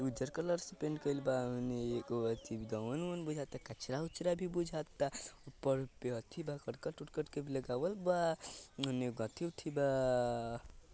उजर कलर से पेन्ट कइल बा एको अथि